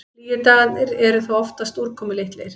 Hlýju dagarnir eru þó oftast úrkomulitlir.